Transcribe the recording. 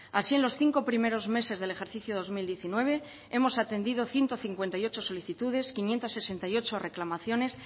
así en los cinco primeros meses del ejercicio dos mil diecinueve hemos atendido ciento cincuenta y ocho solicitudes quinientos sesenta y ocho reclamaciones